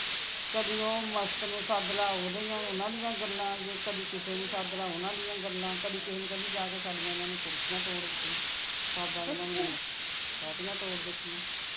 ਕਦੀ ਉਹ ਮਸਤ ਨੂੰ ਸੱਦ ਲਾ ਓਹਦੇ ਜਾ ਓਹਨਾ ਦੀਆਂ ਗੱਲਾਂ ਜੇ ਕਦੀ ਕਿਸੇ ਨੂੰ ਸੱਦ ਲਾ ਓਹਨਾ ਦੀਆਂ ਗੱਲਾਂ ਕਦੀ ਕਿਸੇ ਨੂੰ ਕਹਿਣੇ ਜਾ ਕੇ ਸਾਡੀਆਂ ਇਹਨਾਂ ਨੇ ਕੁਰਸੀਆਂ ਤੋੜ ਦਿਤੀਆਂ ਸਾਡਾ ਇਹਨਾਂ ਨੇ ਸੇਟੀਆਂ ਤੋੜ ਦਿਤੀਆਂ